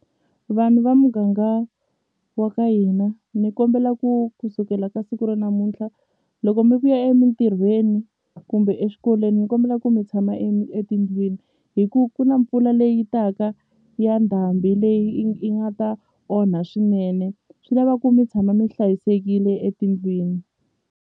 Vanhu va muganga wa ka hina ni kombela ku ku sukela ka siku ra namuntlha loko mi vuya emintirhweni kumbe eswikolweni ni kombela ku mi tshama etindlwini hi ku ku na mpfula leyi taka ya ndhambi leyi i i nga ta onha swinene swi lava ku mi tshama mi hlayisekile etindlwini.